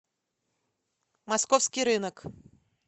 московский рынок